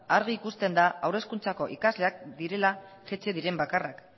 argi ikusten da haur hezkuntzako ikasleak direla jaitsi diren bakarrak